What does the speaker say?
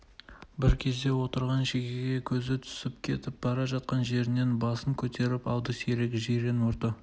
бір кезде отырған шегеге көзі түсіп кетіп жатқан жерінен басын көтеріп алды сирек жирен мұрты